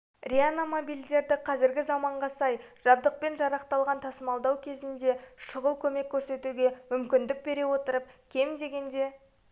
реанимобильдері қазіргі заманға сай жабдықпен жарақталған тасымалдау кезінде шұғыл көмек көрсетуге мүмкіндік бере отырып кем дегенде